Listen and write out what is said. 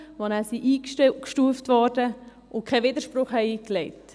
Diese wurden automatisch eingestuft und haben keinen Widerspruch eingelegt.